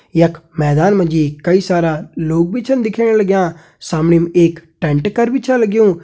यख मैदान मा जी कई सारा लोग भी छन दिखेण लग्यां सामणीम एक टेंट कर भी छ लग्युं।